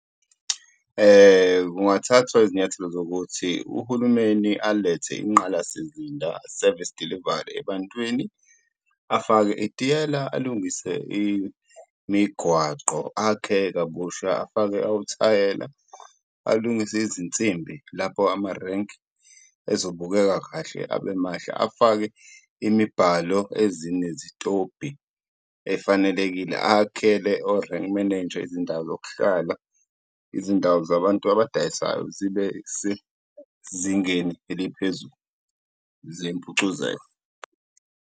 Kungathathwa izinyathelo zokuthi uhulumeni alethe ingqalasizinda, service delivery, ebantwini, afake itiyela, alungise imigwaqo, akhe kabusha, afake othayela, alungise izinsimbi lapho amarenki ezobukeka kahle abemahle. Afake imibhalo ezinezitobhi efanelekile, akhele o-rank manager izindawo zokuhlala, izindawo zabantu abadayisayo zibe sezingeni eliphezulu zempucuzeko.